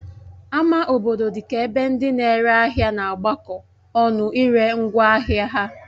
Ama obodo dị ka ebe ndị na-ere ahịa na-agbakọ ọnụ ire ngwaahịa ha